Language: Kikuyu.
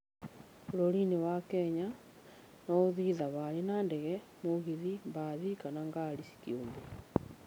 Bũrũri-inĩ wa Kenya, no ũthiĩ thabarĩ na ndege, mũgithi, mbathi, kana ngari kĩũmbe.